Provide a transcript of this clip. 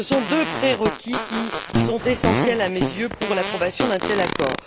Ce sont deux pré requis qui sont essentiels à mes yeux pour l'approbation d'un tel accord.